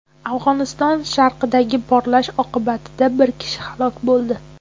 Afg‘oniston sharqidagi portlash oqibatida bir kishi halok bo‘ldi.